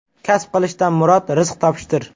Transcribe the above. Kasb qilishdan murod rizq topishdir.